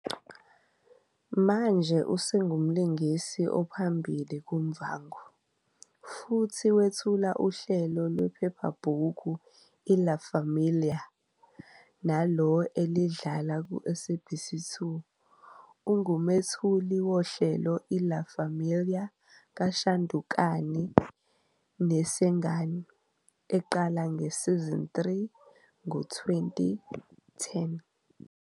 Manje "usengumlingisi ophambili kuMuvhango" futhi wethula uhlelo lwephephabhuku iLa Famila, nalo elidlala kuSABC2. Ungumethuli "wohlelo iLa Familia" kaShandukani Nesengani, eqala ngeSeason 3 ngo-2010.